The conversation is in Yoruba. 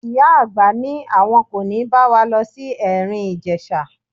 Ìyá àgbà ní àwọn kò ní bá wa lọ sí Ẹ̀rìn-Ìjèṣa.